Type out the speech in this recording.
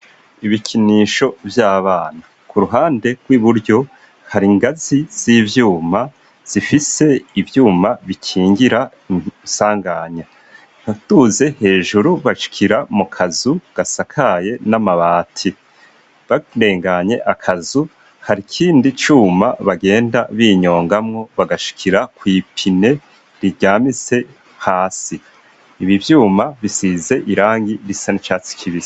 ibikinisho vy'abana. K'uruhande rw'iburyo, hari'ngazi z'ivyuma zifise ivyuma bikingira isanganya. Uduze hejuru bashikiira mu kazu gasakaye n'amabati. Barenganye akazu, hari ikindi cuma bagenda binyongamwo bagashkira kw'ipine riryamise hasi. Ibi vyuma bisize irangi risa n'icatsi kibisi.